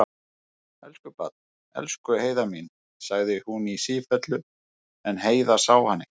Elsku barn, elsku Heiða mín, sagði hún í sífellu, en Heiða sá hana ekki.